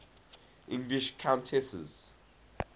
english countesses